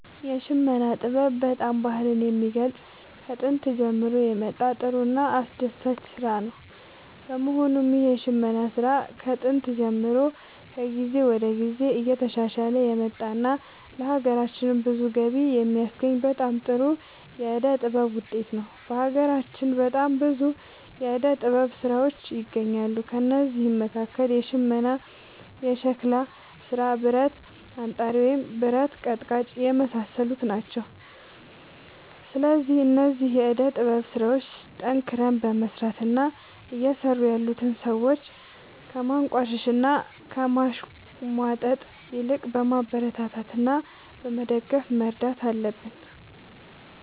የሽመና ጥበብ በጣም ባህልን የሚገልፅ ከጦንት የመጣ ጥሩ እና አስደሳች ስራ ነው በመሆኑም ይህ የሽመና ስራ ከጥንት ጀምሮ ከጊዜ ወደ ጊዜ እየተሻሻለ የመጣ እና ለሀገራችንም ብዙ ገቢ የሚያስገኝ በጣም ጥሩ የዕደ ጥበብ ውጤት ነው። በሀገራችን በጣም ብዙ የዕደ ጥበብ ስራዎች ይገኛሉ ከእነዚህም መካከል ሽመና ሸክላ ስራ ብረት አንጣሪ ወይም ብረት ቀጥቃጭ የመሳሰሉት ናቸው። ስለዚህ እነዚህን የዕደ ጥበብ ስራዎች ጠንክረን በመስራት እና እየሰሩ ያሉትን ሰዎች ከማንቋሸሽ እና ከማሽሟጠጥ ይልቅ በማበረታታት እና በመደገፍ መርዳት አለብን